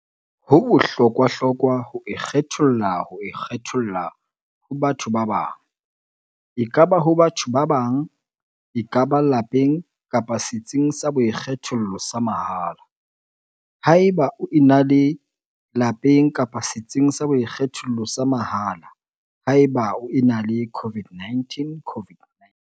HO BOHLOKWAHLOKWA ho ikgetholla ho ikgetholla ho batho ba bang, ekaba ho batho ba bang, ekaba lapeng kapa setsing sa boikgethollo sa mahala, haeba o ena le lapeng kapa setsing sa boikgethollo sa mahala, haeba o ena le COVID-19.